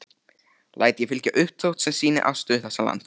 Læt ég fylgja uppdrátt., sem sýnir afstöðu þessa lands.